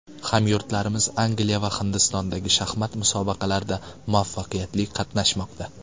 Hamyurtlarimiz Angliya va Hindistondagi shaxmat musobaqalarida muvaffaqiyatli qatnashmoqda.